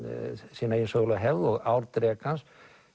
sína eigin sögulegu hefð og ár drekans